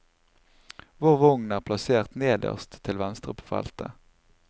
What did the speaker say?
Vår vogn er plassert nederst til venstre på feltet.